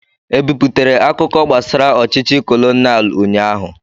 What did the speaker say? E biputere akụkọ gbasara ọchịchị kolonial ụnyaahụ?